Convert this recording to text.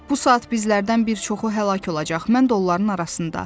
Bu saat bizlərdən bir çoxu həlak olacaq, mən də onların arasında.